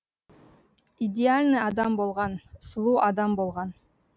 идеальный адам болған сұлу адам болған